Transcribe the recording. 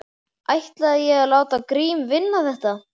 Ætlaði ég þá að láta Grím vinna þetta.